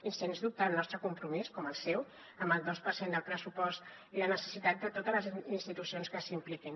i sens dubte el nostre compromís com el seu amb el dos per cent del pressupost i la necessitat de totes les institucions que s’hi impliquin